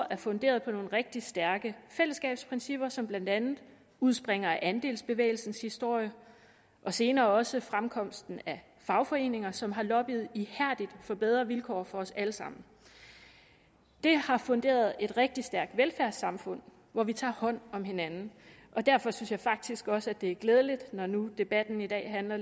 er funderet på nogle rigtig stærke fællesskabsprincipper som blandt andet udspringer af andelsbevægelsens historie og senere også fremkomsten af fagforeninger som har lobbyet ihærdigt for bedre vilkår for os alle sammen det har funderet et rigtig stærkt velfærdssamfund hvor vi tager hånd om hinanden og derfor synes jeg faktisk også det er glædeligt når nu debatten i dag handler